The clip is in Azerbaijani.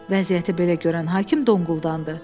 Vəziyyəti belə görən hakim donquldandı.